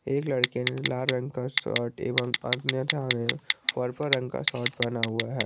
एक लड़के ने लाल रंग का शर्ट एवं अन्यथा ने पर्पल रंग का शर्ट पहना हुआ है।